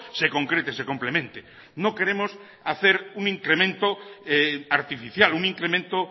se concrete se complemente no queremos hacer un incremento artificial un incremento